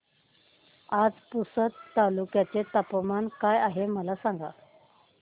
आज पुसद तालुक्यात तापमान काय आहे मला सांगा